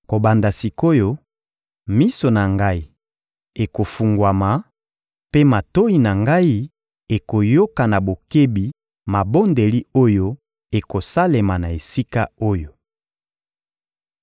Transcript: Kobanda sik’oyo, miso na Ngai ekofungwama, mpe matoyi na Ngai ekoyoka na bokebi mabondeli oyo ekosalema na esika oyo.